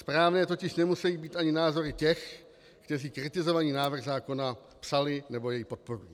Správné totiž nemusejí být ani názory těch, kteří kritizovaný návrh zákona psali nebo jej podporují.